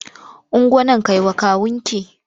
Ungo nan kai wa kawunki!